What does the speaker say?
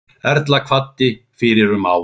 Erla kvaddi fyrir um ári.